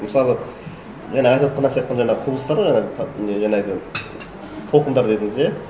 мысалғы жаңа айтыватқандағы сияқты жаңағы құбылыстар ғой ана не жаңағы толқындар дедіңіз иә